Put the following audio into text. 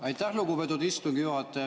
Aitäh, lugupeetud istungi juhataja!